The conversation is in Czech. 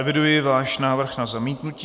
Eviduji váš návrh na zamítnutí.